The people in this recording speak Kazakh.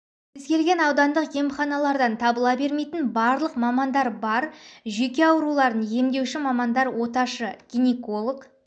кез-келген аудандық емханалардан табыла бермейтін барлық мамандар бар жүйке жүрек ауруларын емдеуші мамандар оташы гинеколог